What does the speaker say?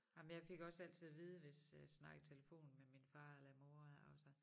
Ej men jeg fik også altid at vide hvis øh snakkede i telefon med min far eller mor også